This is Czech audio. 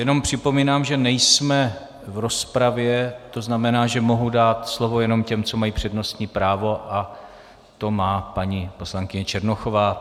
Jenom připomínám, že nejsme v rozpravě, to znamená, že mohu dát slovo jenom těm, co mají přednostní právo, a to má paní poslankyně Černochová.